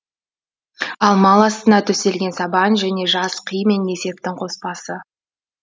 ал мал астына төселген сабан және жас қи мен несептің қоспасы